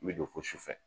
I bɛ don ko sufɛ